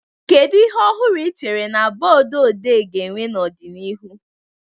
Kedu ihe ọhụrụ ị chere na booduodee ga-enwe n'ọdịnihu?